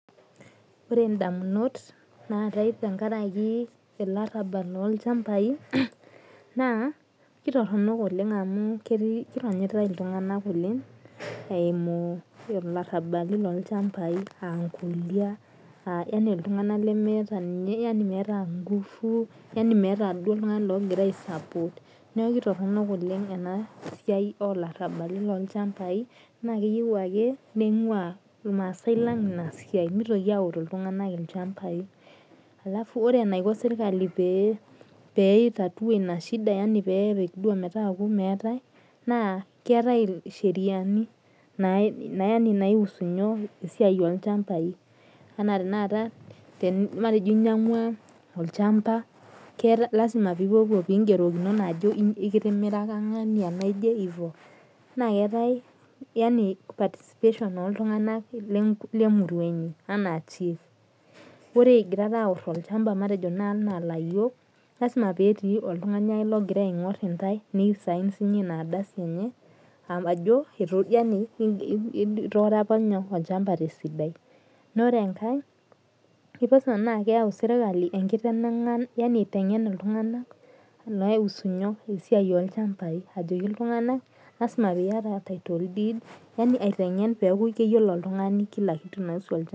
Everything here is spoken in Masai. Ore indamunot naatae tenkaraki ilarrabal lolchambai, naa kitorronok oleng amu ketii kironyitai iltung'anak oleng eimu ilarrabali lolchambai ankolia, yani iltung'anak lemeeta yani meeta ngufu, yani meeta duo oltung'ani logira ai support. Niaku kitorronok oleng enasiai olarrabali lolchambai, naa keyieu ake ning'ua irmaasai lang inasiai. Mitoki aoru iltung'anak ilchambai. Alafu ore enaiko sirkali pee pi tatua inashida yani pepik duo metaaku meetae, naa keetae isheriani naiusu nyoo, esiai olchambai. Enaa tanakata matejo inyang'ua olchamba, keeta lasima pipuopuo pigerokinono ajo ikitimiraka ng'ania naje ivo. Na keetae yani situation oltung'anak lemurua inyi. Anaa chief. Ore igirara aorro olchamba matejo naa anaa layiok, lasima petii oltung'ani ake logira aing'or intae, ni sign sinye inardasi enye, ajo yani itooro apa nyoo, olchamba tesidai. Nore enkae, kipasua na keyau sirkali enkitenang'an yani aiteng'en iltung'anak, loiusu nyoo esiai olchambai. Ajoki iltung'anak lasima piata title deed, yani aiteng'en metaa keyiolo oltung'ani kila kitu naiusu olchamba.